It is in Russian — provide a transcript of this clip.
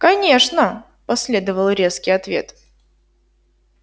конечно последовал резкий ответ